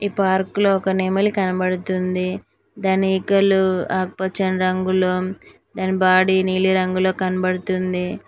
Park లో ఒక నెమలి కనబడుతుంది దాని ఈకలు ఆకుపచ్చని రంగులో దాని బాడీ నీలి రంగులో కనబడుతుంది.